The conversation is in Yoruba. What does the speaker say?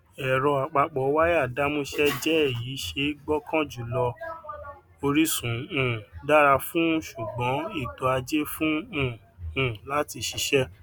ero apapowaya damuse jé èyí ṣe gbókàn jùlọ orisun um dara fun sugbon eto aje fún um un lati ṣiṣé